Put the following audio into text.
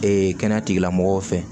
Ee kɛnɛya tigilamɔgɔw fɛ